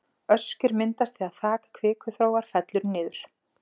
Öskjur myndast þegar þak kvikuþróar fellur niður.